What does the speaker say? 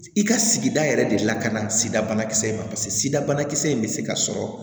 I ka sigida yɛrɛ de lakana sida bana kisɛ in ma paseke sida banakisɛ in bɛ se ka sɔrɔ